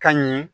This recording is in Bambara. Ka ɲɛ